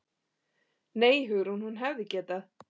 Nei, Hugrún, hún hefði getað.